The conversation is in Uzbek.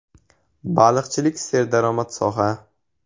Baliqchilik serdaromad soha.